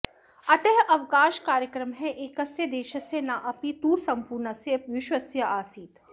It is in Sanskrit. अतः अवकाशकार्यक्रमः एकस्य देशस्य न अपि तु सम्पूर्णस्य विश्वस्य आसीत्